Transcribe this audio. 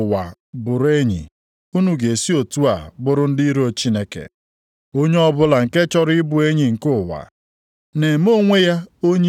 Ndị na-ekwesighị ntụkwasị obi! Ọ bụ na unu amaghị na unu na ụwa bụrụ enyi, unu ga-esi otu a bụrụ ndị iro Chineke? Onye ọbụla nke chọrọ ịbụ enyi nke ụwa, na-eme onwe ya onye iro nke Chineke.